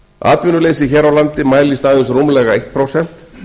atvinnuleysið hér á landi mælist aðeins rúmlega eitt prósent